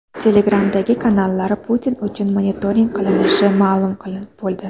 Telegram’dagi kanallar Putin uchun monitoring qilinishi ma’lum bo‘ldi.